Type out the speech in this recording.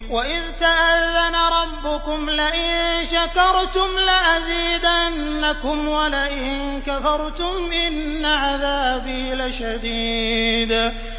وَإِذْ تَأَذَّنَ رَبُّكُمْ لَئِن شَكَرْتُمْ لَأَزِيدَنَّكُمْ ۖ وَلَئِن كَفَرْتُمْ إِنَّ عَذَابِي لَشَدِيدٌ